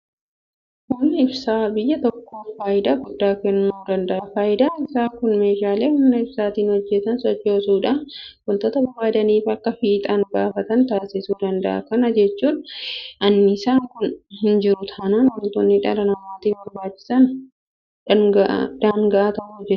Humni ibsaa biyya tokkoof faayidaa guddaa kennuu danda'a. Faayidaan isaa kunis meeshaalee humna ibsaatiin hojjetan sochoosuudhaan waanta barbaadamaniif akka fiixaan baafatan taasisuu danda'a. Kana jechuun anniisaan kun hinjiru taanaan waantonni dhala namaatiif barbaachisan daanga'aa ta'u jechuudha.